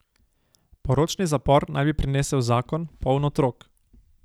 Poročni zapor naj bi prinesel zakon, poln otrok.